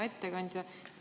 Hea ettekandja!